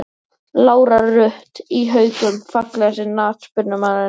Lára Rut í Haukum Fallegasti knattspyrnumaðurinn?